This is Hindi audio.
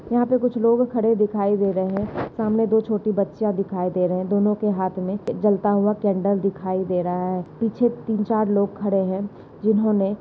यहाँ पे कुछ लोग खड़े दिखाई दे रहे है। सामने कुछ दो छोटी बच्चिया दिखाई दे रही है। दोन्हों के हाथ मे एक जलता हुआ कॅण्डल दिखाई दे रहा है। पीछे तीन चार लोग खड़े है। जिन्होने--